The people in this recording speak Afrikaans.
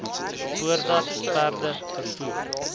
voordat perde vervoer